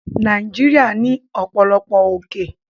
Nàìjíríà ní ọ̀pọ̀lọpọ̀ òkè